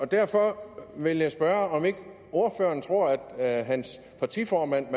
derfor vil jeg spørge om ikke ordføreren tror at hans partiformand